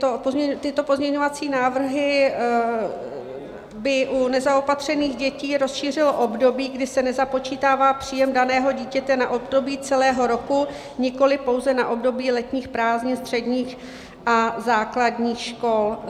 Tyto pozměňovací návrhy by u nezaopatřených dětí rozšířily období, kdy se nezapočítává příjem daného dítěte na období celého roku, nikoliv pouze na období letních prázdnin středních a základních škol.